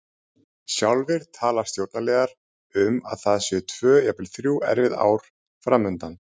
Sjálfir tala stjórnarliðar um að það séu tvö, jafnvel þrjú, erfið ár fram undan.